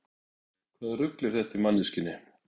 Hvaða rugl er þetta í manneskjunni?